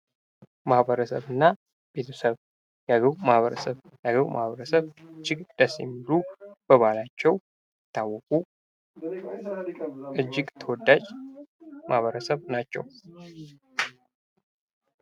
ማበረሰብና ቤተሰብ ።የአገው ማህበረሰብ እጅግ በጣም ደስ የሚሉ በባህላቸው የሚታወቁ እጅግ ተወዳጅ ማህበረሰብ ናቸው።